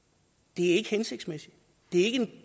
det er ikke hensigtsmæssigt det er ikke en